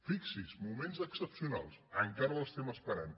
fixi s’hi moments excepcionals encara l’esperem